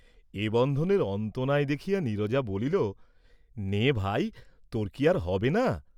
এ বন্ধনের অন্ত নাই দেখিয়া নীরজা বলিল, "নে ভাই, তোর কি আর হবে না?"